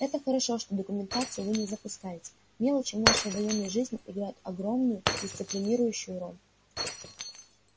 это хорошо что документацию вы не запускаете мелочи в нашей военной жизни играют огромную дисциплинирующую роль